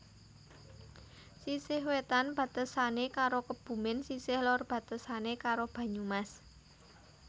Sisih wetan batesane karo Kebumen sisih lor batesane karo Banyumas